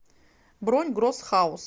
бронь гросс хаус